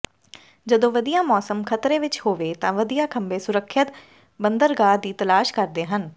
ਜਦੋਂ ਵਧੀਆ ਮੌਸਮ ਖਤਰੇ ਵਿੱਚ ਹੋਵੇ ਤਾਂ ਵਧੀਆ ਖੰਭੇ ਸੁਰੱਖਿਅਤ ਬੰਦਰਗਾਹ ਦੀ ਤਲਾਸ਼ ਕਰਦੇ ਹਨ